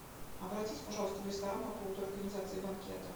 обратись пожалуйста в ресторан по поводу организации банкета